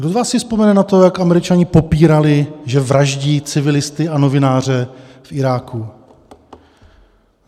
Kdo z vás si vzpomene na to, jak Američané popírali, že vraždí civilisty a novináře v Iráku?